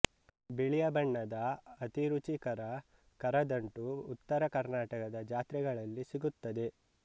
ಬಿಳಿಯ ಬಣ್ಣದ ಅತಿ ರುಚಿಕರ ಕರದಂಟು ಉತ್ತರ ಕರ್ನಾಟಕದ ಜಾತ್ರೆಗಳಲ್ಲಿ ಸಿಗುತ್ತದೆ